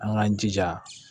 An k'an jija